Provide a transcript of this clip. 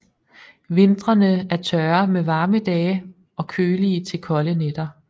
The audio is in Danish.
Vintrene er tørre med varme dage og kølige til kolde nætter